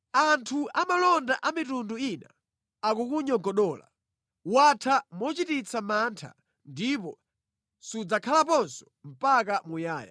Anthu amalonda a mitundu ina akukunyogodola. Watha mochititsa mantha ndipo sudzakhalaponso mpaka muyaya.”